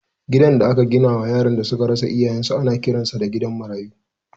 Gidan da aka gina wa yaran da suka rasa iyayensu ana kiransa da gidan marayu.